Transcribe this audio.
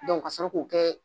Dɔnku ka sɔrɔ k'o kɛ